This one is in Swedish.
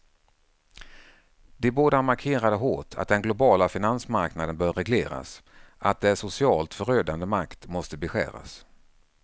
De båda markerade hårt att den globala finansmarknaden bör regleras, att dess socialt förödande makt måste beskäras.